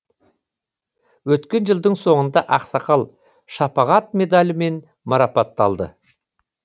өткен жылдың соңында ақсақал шапағат медалімен марапатталды